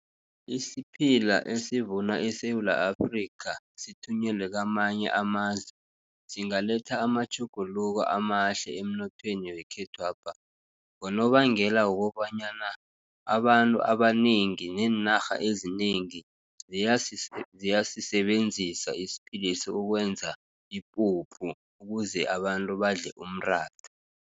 Isiphila esivuna eSewula Afrika, sithunyelwe kwamanye amazwe, zingaletha amatjhuguluko amahle emnothweni wekhethwapha. Ngonobangela wokobanyana abantu abanengi nenarha ezinengi, ziyasibenzisa isiphilesi, ukwenza ipuphu ukuze abantu badle umratha.